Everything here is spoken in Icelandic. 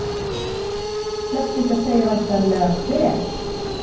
Flest ykkar segja væntanlega Hver?